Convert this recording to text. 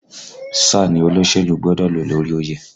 Sáà ni olóṣèlú gbọ́dọ̀ ló lórí oyè!